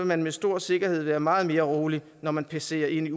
man med stor sikkerhed være meget mere rolig når man passerer ind i